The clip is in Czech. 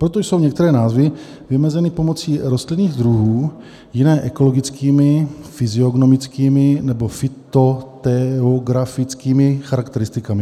Proto jsou některé názvy vymezeny pomocí rostlinných druhů, jiné ekologickými, fyziognomickými nebo fytogeografickými charakteristikami.